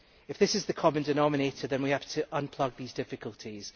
If this is the common denominator then we have to unplug these difficulties.